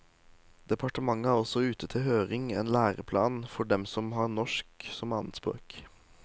Departementet har også ute til høring en læreplan for dem som har norsk som annetspråk.